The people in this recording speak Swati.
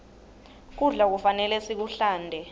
kudla kufanele sikuhlante